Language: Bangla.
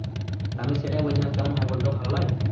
তা আমি সেটাই বলছিলাম কেমন হয় বল তো ভালো লয়?